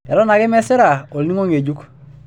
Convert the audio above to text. Eton ake mesira olning'o ngejuk.